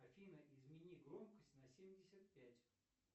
афина измени громкость на семьдесят пять